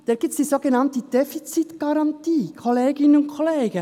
Dort gibt es die sogenannte Defizitgarantie, Kolleginnen und Kollegen.